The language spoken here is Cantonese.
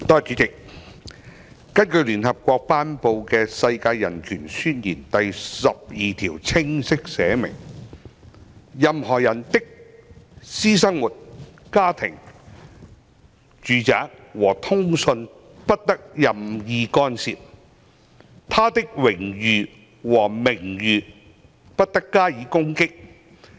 主席，聯合國頒布的《世界人權宣言》第十二條清晰列明"任何人的私生活、家庭、住宅和通信不得任意干涉，他的榮譽和名譽不得加以攻擊。